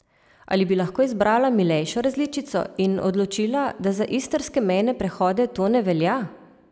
Ali bi lahko izbrala milejšo različico in odločila, da za istrske mejne prehode to ne velja?